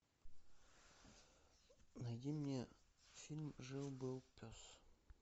найди мне фильм жил был пес